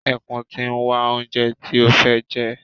Ẹkùn ti ń wá oúnjẹ tí ó fẹ́ jẹ.